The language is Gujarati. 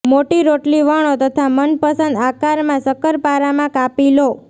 મોટી રોટલી વણો તથા મનપસંદ આકારમાં શકરપારામાં કાપી લો